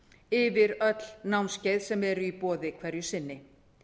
yfir öll námskeið sem eru í boði hverju sinni